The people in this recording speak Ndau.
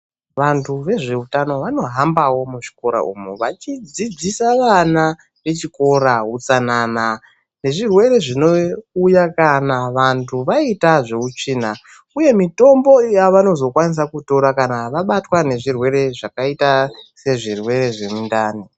Vantu vezveutano vanohambawo muzvikora umu vachidzidzisa vana vechikora utsanana nezvirwere zvinouya kana vantu vaita zveutsvina. Uye mitombo yava nozofanira kutora kana vabatwa nezvirwere zvakaita sezvirwere zvemundani.